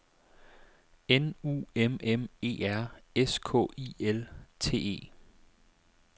N U M M E R S K I L T E